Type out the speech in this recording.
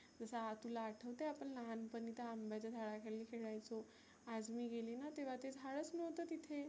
जसं हा तुला आठवतं? आपण लहाणपनी त्या अंब्याच्या झाडाखाली खेळायचो आज मी गेलीना तेव्हा ते झाडच नव्हतं तिथे.